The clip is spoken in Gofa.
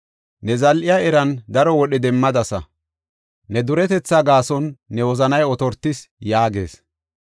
Ne zal7iya eran daro wodhe demmadasa; ne duretetha gaason ne wozanay otortis’ ” yaagees.